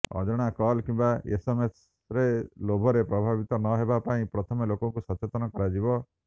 ଅଜଣା କଲ୍ କିମ୍ବା ଏସ୍ଏମ୍ଏସ୍ର ଲୋଭରେ ପ୍ରଭାବିତ ନ ହେବା ପାଇଁ ପ୍ରଥମେ ଲୋକଙ୍କୁ ସଚେତନ କରାଯିବ